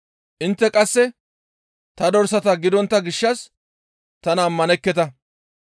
Intte qasse ta dorsata gidontta gishshas tana ammanekketa.